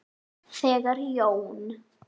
Þegar Jón